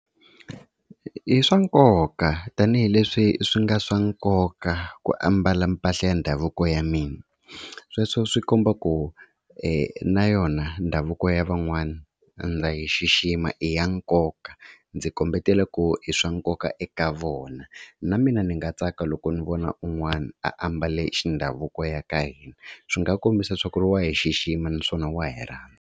I swa nkoka tanihileswi swi nga swa nkoka ku ambala mpahla ya ndhavuko ya mina, sweswo swi komba ku na yona ndhavuko ya van'wana ndza yi xixima i ya nkoka. Ndzi kombeta ku i swa nkoka eka vona na mina ni nga tsaka loko ni vona un'wana a ambale xa ndhavuko wa ka hina swi nga kombisa leswaku wa hi xixima naswona wa hi rhandza.